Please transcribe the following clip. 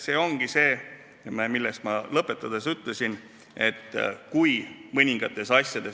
See ongi see, millest ma kõnet lõpetades rääkisin.